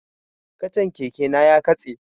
Kacan keke na ya katse